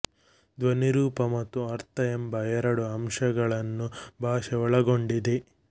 ಧ್ವನಿರೂಪ ಮತ್ತು ಅರ್ಥ ಎಂಬ ಎರಡು ಅಂಶಗಳನ್ನು ಭಾಷೆ ಒಳಗೊಂಡಿದೆ